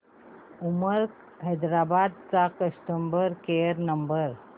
Uber Hyderabad चा customer care number